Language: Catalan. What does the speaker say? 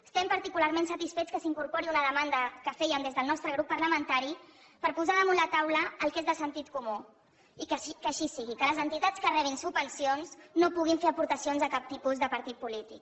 estem particularment satisfets que s’incorpori una demanda que fèiem des del nostre grup parlamentari per posar damunt la taula el que és de sentit comú i que així sigui que les entitats que rebin subvencions no puguin fer aportacions a cap tipus de partit polític